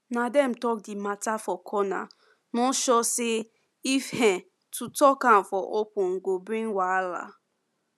na dem talk the matter for corner no sure say if um to talk am for open go bring wahala